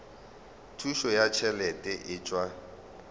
thušo ya ditšhelete e tšwa